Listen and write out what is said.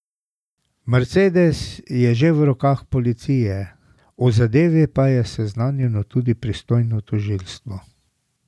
Mercedes je že v rokah policije, o zadevi pa je seznanjeno tudi pristojno tožilstvo.